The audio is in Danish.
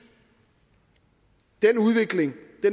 den udvikling